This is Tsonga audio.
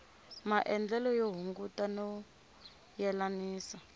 maendlele yo hunguta no yelanisa